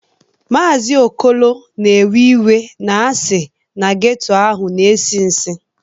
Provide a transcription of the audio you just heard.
Maazị Okolo na-ewe iwe na a sị na geto ahụ na-esi nsi